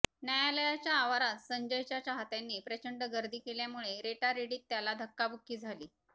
न्यायालयाच्या आवारात संजयच्या चाहत्यांनी प्रचंड गर्दी केल्यामुळे रेटारेटीत त्याला धक्काबुक्की झाली